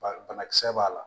Ba banakisɛ b'a la